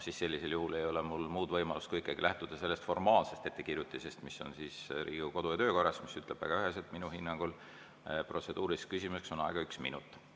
Sellisel juhul ei ole mul muud võimalust kui ikkagi lähtuda sellest formaalsest ettekirjutisest, mis on Riigikogu kodu‑ ja töökorras, mis ütleb väga üheselt, minu hinnangul, et protseduuriliseks küsimuseks on aega üks minut.